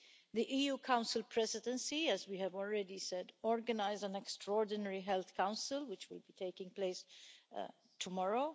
The EU Council Presidency, as we have already said, has organised an Extraordinary Health Council, which will be taking place tomorrow.